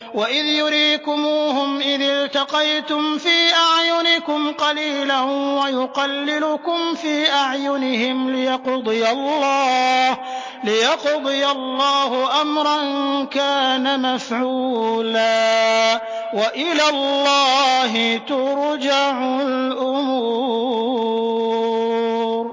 وَإِذْ يُرِيكُمُوهُمْ إِذِ الْتَقَيْتُمْ فِي أَعْيُنِكُمْ قَلِيلًا وَيُقَلِّلُكُمْ فِي أَعْيُنِهِمْ لِيَقْضِيَ اللَّهُ أَمْرًا كَانَ مَفْعُولًا ۗ وَإِلَى اللَّهِ تُرْجَعُ الْأُمُورُ